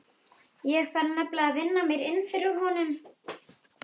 Ég þarf nefnilega að vinna mér inn fyrir honum.